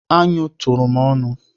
Anụ tụrụ m ọnụ.